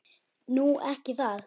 Nú. ekki það?